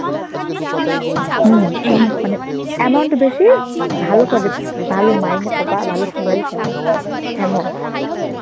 হম মানে, amount বেশি ভালো পদে থাকলে, ভালো মাইনে পাবা, ভালো salary পাবা, এমন.